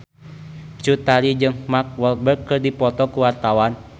Cut Tari jeung Mark Walberg keur dipoto ku wartawan